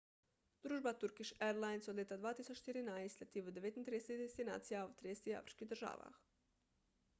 družba turkish airlines od leta 2014 leti v 39 destinacij v 30 afriških državah